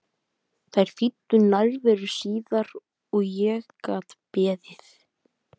Þær þýddu nærveru síðar og ég gat beðið.